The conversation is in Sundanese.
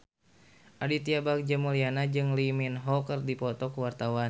Aditya Bagja Mulyana jeung Lee Min Ho keur dipoto ku wartawan